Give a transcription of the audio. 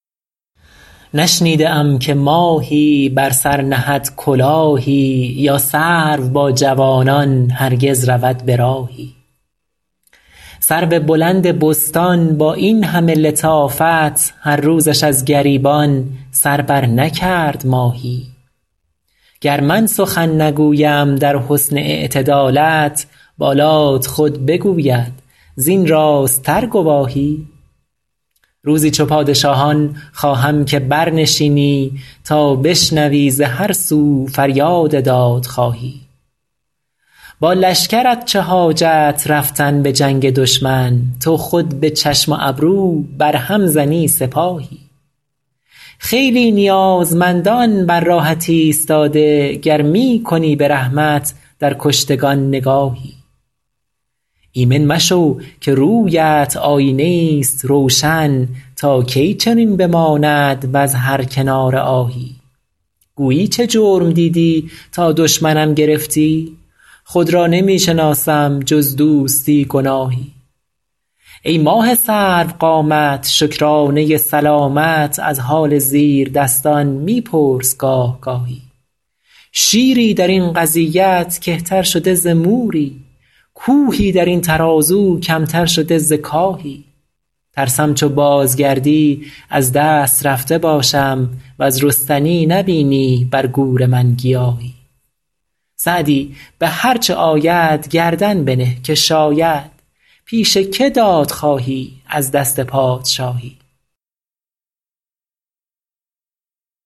نشنیده ام که ماهی بر سر نهد کلاهی یا سرو با جوانان هرگز رود به راهی سرو بلند بستان با این همه لطافت هر روزش از گریبان سر برنکرد ماهی گر من سخن نگویم در حسن اعتدالت بالات خود بگوید زین راست تر گواهی روزی چو پادشاهان خواهم که برنشینی تا بشنوی ز هر سو فریاد دادخواهی با لشکرت چه حاجت رفتن به جنگ دشمن تو خود به چشم و ابرو بر هم زنی سپاهی خیلی نیازمندان بر راهت ایستاده گر می کنی به رحمت در کشتگان نگاهی ایمن مشو که روی ات آیینه ای ست روشن تا کی چنین بماند وز هر کناره آهی گویی چه جرم دیدی تا دشمنم گرفتی خود را نمی شناسم جز دوستی گناهی ای ماه سرو قامت شکرانه سلامت از حال زیردستان می پرس گاه گاهی شیری در این قضیت کهتر شده ز موری کوهی در این ترازو کم تر شده ز کاهی ترسم چو بازگردی از دست رفته باشم وز رستنی نبینی بر گور من گیاهی سعدی به هر چه آید گردن بنه که شاید پیش که داد خواهی از دست پادشاهی